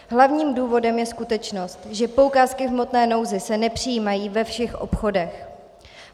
Hlavním důvodem je skutečnost, že poukázky v hmotné nouzi se nepřijímají ve všech obchodech.